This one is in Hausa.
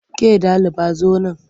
Ke ɗaliba zo nan!